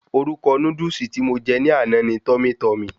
Orúkọ Núdúsì tí mo je ní àná ni"Tummy Tummy"